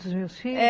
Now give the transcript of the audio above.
Dos meus filhos? é